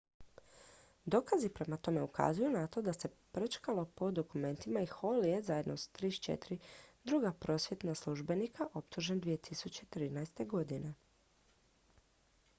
dokazi prema tome ukazuju na to da se prčkalo po dokumentima i hall je zajedno s 34 druga prosvjetna službenika optužen 2013